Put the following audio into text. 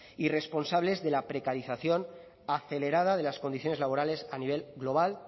y responsables de la precarización acelerada de las condiciones laborales a nivel global